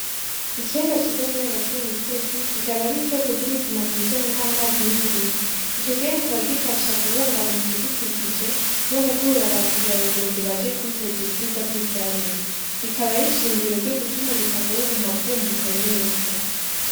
Ikiyaga ciza kiri hagati mu misozi, kikaba ari isoko ry'ubuzima mu bijanye n'amazi n'uburimyi, ico kiyaga kikaba gifasha kubungabunga ibidukikije no gukurura ba mukera rugendo baje kwiheza ubwiza bw'ivyaremwe, ikaba ari nshingiro ryo gutuma ubutaka buguma bwumbuka neza.